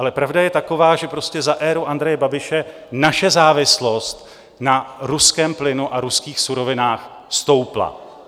Ale pravda je taková, že prostě za éru Andreje Babiše naše závislost na ruském plynu a ruských surovinách stoupla.